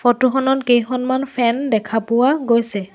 Photo খনত কেইখনমান fan দেখা পোৱা গৈছে।